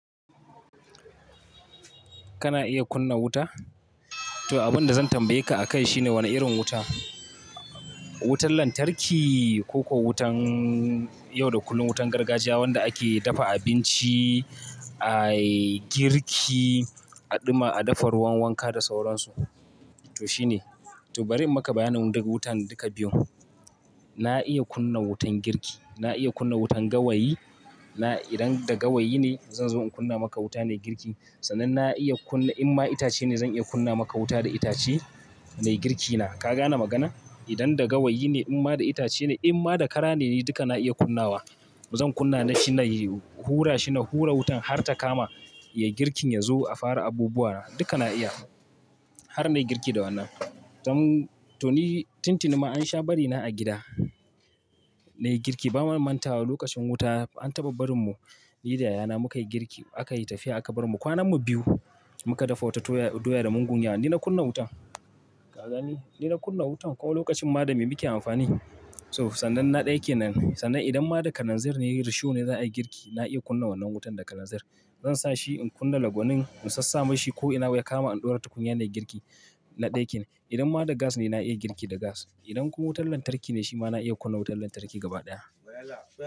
Kana iya kunna wuta? To, abin da zan tambaye ka akai shine wane irin wuta? Wutar lantarki ko ko wutar yau da kullum wutar gargajiya wanda ake dafa abinci, ayi girki, a ɗuma, a dafa ruwan wanka da sauransu. To shine. To bari in maka bayanin daga wutan duka biyun. Na iya kunna wutan girki, na iya kunna wutan gawayi. Na idan da gawayi ne, zan zo in kunna maka wuta nayi girki. Sannan na iya kunna in ma itace ne zan iya kunna maka wuta da itace nai girki na. Ka gane magana? Idan da gawayi ne, in ma da itace ne, in ma da kara ne duka na iya kunnawa. Zan kunna shi na yi hura shi na hura wutan har ta kama, yayi girkin ya zo a fara abubuwa duka na iya. Har nai girki da wannan. Dan to ni tuntuni ma an sha bari na a gida, na yi girki ba mu mantawa lokacin wuta an taɓa barin mu, ni da yayana muka yi girki aka yi tafiya aka barmu. Kwanan mu biyu muka dafa wata doya da mugun ya. Ni na kunna wutan. Ka gani? Ni na kunna wutan kuma lokacin ma da me muke amfani. So sannan na ɗays ke nan. Sannan idan ma da kananzir ne risho ne za a yi girki, na iya kunna wannan wutan da kananzir. Zan sa shi in kunna lagwonin in sassama shi ko ina ya kama in ɗora tukunya nai girki na ɗaya ke nan. Idan ma da gas ne na iya girki da gas. Idan kuma wutar lantarki ne shi ma na iya kunna wutar lantarki gaba ɗaya.